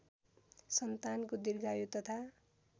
सन्तानको दीर्घायु तथा